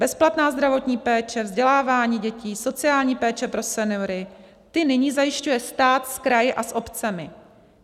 Bezplatná zdravotní péče, vzdělávání dětí, sociální péče pro seniory, ty nyní zajišťuje stát s kraji a s obcemi.